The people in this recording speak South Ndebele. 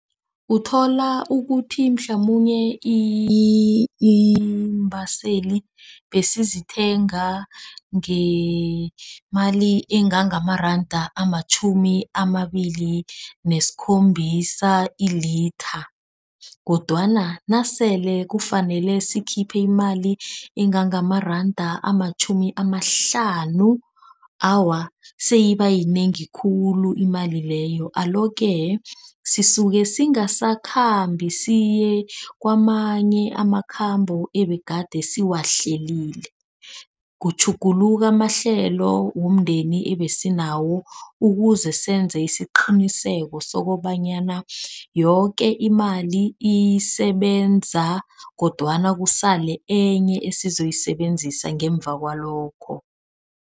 Uthola ukuthi mhlamunye iimbaseli besizithenga ngemali engangamaranda amatjhumi amabili nesikhombisa ilitha, kodwana nasele kufanele sikhiphe imali engangamaranda amatjhumi amahlanu. Awa seyibayinengi khulu imali leyo. Alo-ke sisuke singasakhambi siye kwamanye amakhambo ebegade siwahlelile. Kutjhuguluka amahlelo womndeni ebesinawo. Ukuze senze isiqiniseko sokobanyana yoke imali isebenza kodwana kusale enye esizoyisebenzisa ngemva kwalokho.